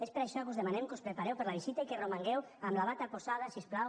és per això que us demanem que us prepareu per a la visita i que romangueu amb la bata posada si us plau